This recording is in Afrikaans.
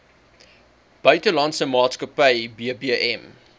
buitelandse maatskappy bbm